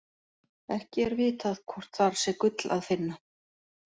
Ekki er vitað hvort þar sé gull að finna.